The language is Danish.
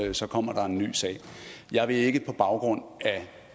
er så kommer der en ny sag jeg vil ikke på baggrund af